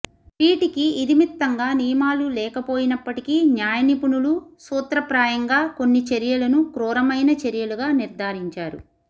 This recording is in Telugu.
వీటికి ఇదమిత్థంగా నియమాలు లేకపోయినప్పటకీ న్యాయనిపుణులు సూత్రప్రాయంగా కొన్ని చర్యలను క్రూరమైన చర్యలుగా నిర్ధారించారు